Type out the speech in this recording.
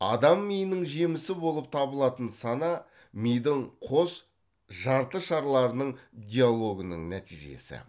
адам миының жемісі болып табылатын сана мидың қос жартышарларының диалогының нәтижесі